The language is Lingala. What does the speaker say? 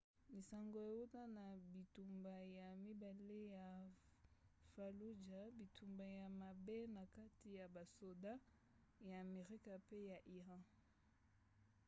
lisango euta na bitumba ya mibale ya fallujah bitumba ya mabe na kati ya basoda ya amerika mpe ya iran